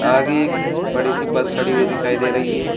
आगे एक बड़ी सी बस खड़ी हुई दिखाई दे रही है।